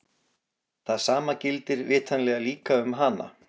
Það sama gildir vitanlega líka um hana!